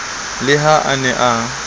le ha a ne a